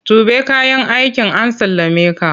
Tuɓe kayan aikin an sallameka!